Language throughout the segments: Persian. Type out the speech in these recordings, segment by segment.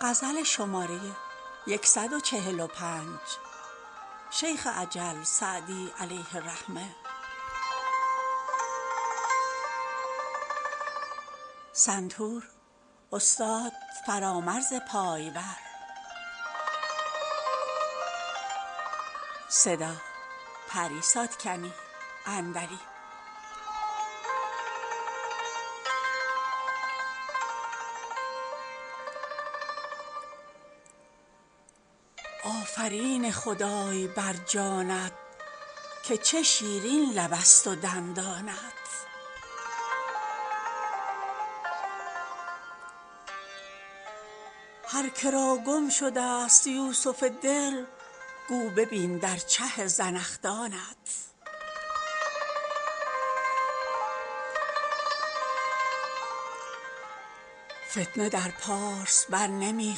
آفرین خدای بر جانت که چه شیرین لبست و دندانت هر که را گم شدست یوسف دل گو ببین در چه زنخدانت فتنه در پارس بر نمی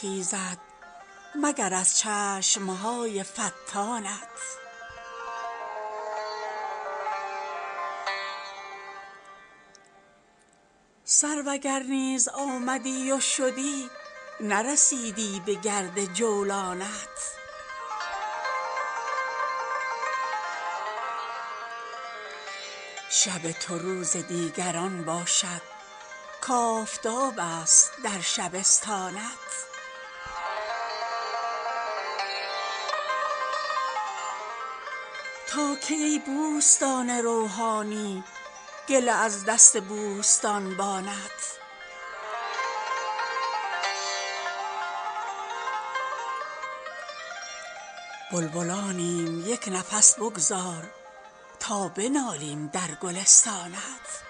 خیزد مگر از چشم های فتانت سرو اگر نیز آمدی و شدی نرسیدی بگرد جولانت شب تو روز دیگران باشد کآفتابست در شبستانت تا کی ای بوستان روحانی گله از دست بوستانبانت بلبلانیم یک نفس بگذار تا بنالیم در گلستانت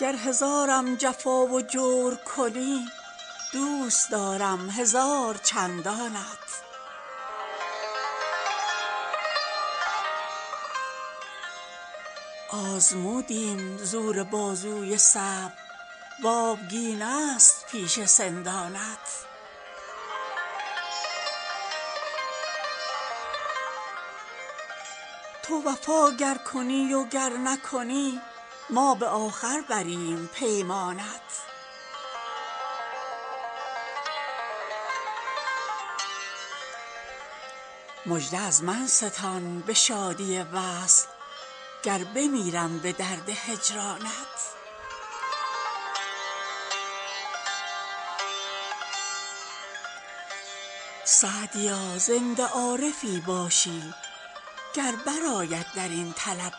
گر هزارم جفا و جور کنی دوست دارم هزار چندانت آزمودیم زور بازوی صبر و آبگینست پیش سندانت تو وفا گر کنی و گر نکنی ما به آخر بریم پیمانت مژده از من ستان به شادی وصل گر بمیرم به درد هجرانت سعدیا زنده عارفی باشی گر برآید در این طلب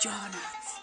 جانت